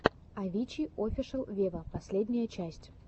авичи офишел вево последняя часть